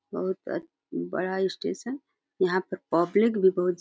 बहुत अछ बड़ा स्टेशन । यहाँ पर पब्लिक भी बहुत ज --